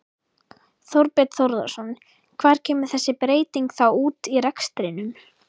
Þorbjörn Þórðarson: Hvar kemur þessi breyting þá út í rekstrinum?